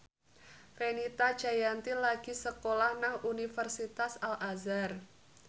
Fenita Jayanti lagi sekolah nang Universitas Al Azhar